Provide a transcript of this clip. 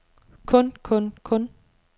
kun kun kun